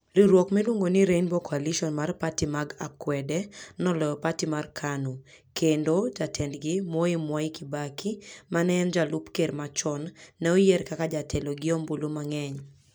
Riwruok miluongo ni Rainbow Coalition mar pati mag akwede noloyo pati mar KANU, kendo jatendgi, Moi Mwai Kibaki, ma ne en jalup ker machon, ne oyier kaka jatelo gi ombulu mang'eny.